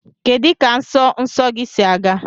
Kedu ka nsọ nsọ gị si aga?